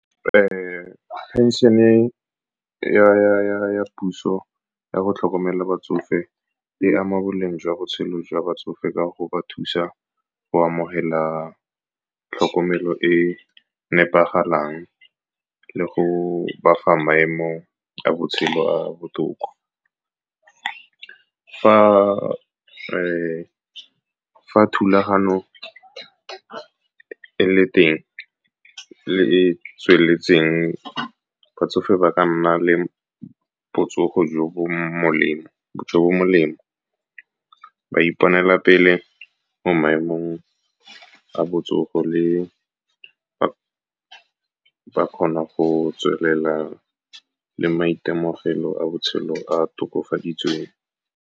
Phenšene ya puso ya go tlhokomela batsofe e ama boleng jwa botshelo jwa batsofe ka go ba thusa go amogela tlhokomelo e nepagalang le go ba fa maemo a botshelo a a botoka. Fa thulagano e le teng le e tsweletseng, batsofe ba ka nna le botsogo jo bo molemo, ba iponela pele mo maemong a botsogo, ba kgona go tswelela le maitemogelo a botshelo a tokafaditsweng.